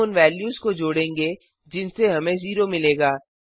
हम उन वेल्यूज को जोड़ेंगे जिनसे हमें 0 मिलेगा